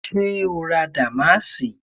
Ṣé o ra dàmáàsì?